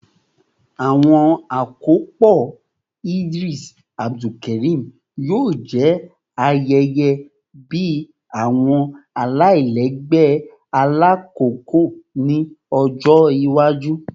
Awọn akopọ Idris Abdulkarim yoo jẹ ayẹyẹ bi awọn alailẹgbẹ ailakoko ni ọjọ iwaju